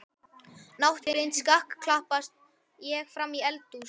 Náttblind skakklappast ég fram í eldhús.